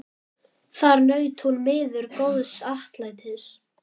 Þar naut hún miður góðs atlætis.